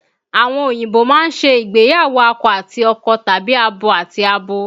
Àwọn òyìnbó máa ń ṣe ìgbéyàwó akọ àti akọ tàbí abo àti abo